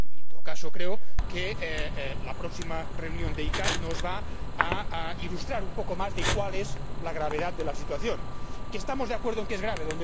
En todo caso, creo que la próxima reunión de la CICAA nos va a ilustrar un poco más sobre cuál es la gravedad de la situación, que estamos de acuerdo en que es grave.